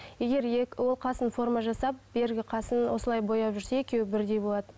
егер ол қасын форма жасап бергі қасын осылай бояп жүрсе екеуі бірдей болады